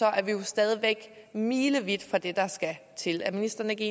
er vi jo stadig væk milevidt fra det der skal til er ministeren ikke